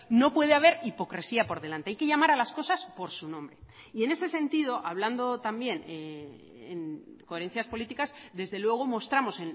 no puede haber hipocresía por delante hay que llamar a las cosas por su nombre y en ese sentido hablando también en coherencias políticas desde luego mostramos